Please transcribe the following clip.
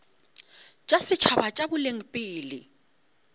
tša setšhaba tša boleng pele